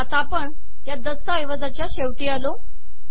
आता आपण या दस्तऐवजाच्या शेवटी आलो